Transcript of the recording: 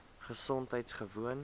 gesondheidgewoon